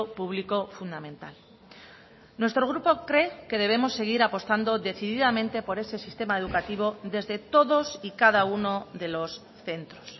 público fundamental nuestro grupo cree que debemos seguir apostando decididamente por ese sistema educativo desde todos y cada uno de los centros